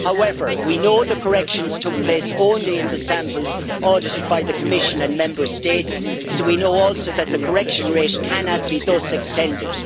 However, we know the corrections took place only in the samples audited by the Commission and Member States, so we know also that the correction rate cannot be thus extended.